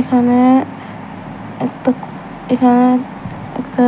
এখানে একটা এখানে একটা